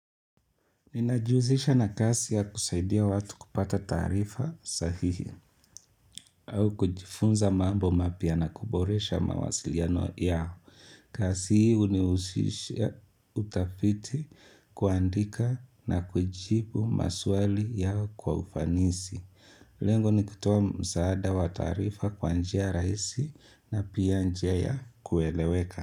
Ninajihusisha na kazi ya kusaidia watu kupata taarifa sahihi au kujifunza mambo mapya na kuboresha mawasiliano yao. Kazi hii hunihusisha utafiti kuandika na kujibu maswali yao kwa ufanisi. Lengo nikitoa msaada wa taarifa kwanjia rahisi na pia njia ya kueleweka.